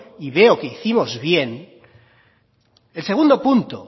y veo que hicimos bien el segundo punto